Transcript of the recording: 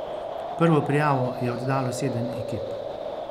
Prvo prijavo je oddalo sedem ekip.